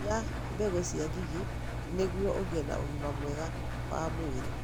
Iria mbegũ cia ngigĩ nĩguo ũgĩe na ũgima mwega wa mwĩrĩ.